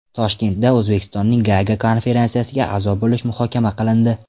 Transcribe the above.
Toshkentda O‘zbekistonning Gaaga konferensiyasiga a’zo bo‘lishi muhokama qilindi.